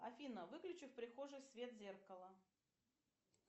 афина выключи в прихожей свет зеркала